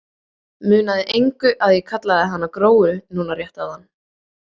Munaði engu að ég kallaði hana Gróu núna rétt áðan.